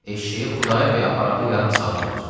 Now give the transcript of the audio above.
Eşşəyi Xudayar bəy aparalı yarım saat olar.